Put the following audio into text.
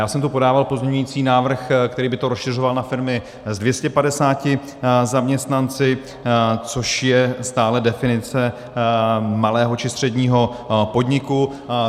Já jsem tu podával pozměňující návrh, který by to rozšiřoval na firmy s 250 zaměstnanci, což je stále definice malého či středního podniku.